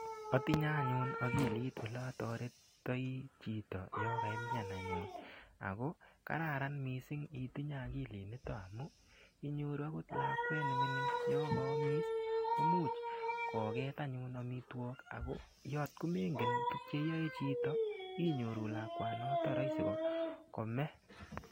Atinye anyun akilit ole atoretitoi chito yo kaimyan anyun ako kararan mising' itinye akilinito amun inyoru akot lakwet nemining' yo kaamis ko muuch koket anyun omitwok ako atkomengen tukcheiyoe chito inyoru lakwanoto rahisi kome